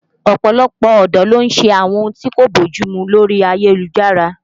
Ọ̀pọ̀lọpọ̀ ọ̀dọ́ ló ń ṣe àwọn ohun tí kò bójú mu lórí ayélujára